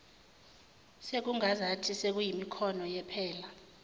sekungazathi sekuyimikhono yephela